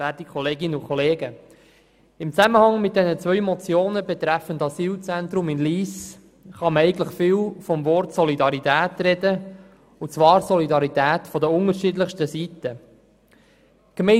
In Zusammenhang mit den beiden Motionen betreffend Asylzentrum in Lyss kann man viel von Solidarität sprechen, und zwar von Solidarität aus den verschiedensten Blickwinkeln betrachtet.